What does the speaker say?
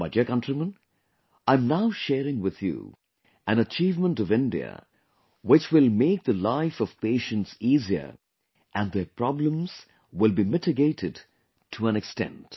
My dear countrymen, I am now sharing with you an achievement of India which will make the life of patients easier and their problems will be mitigated to an extent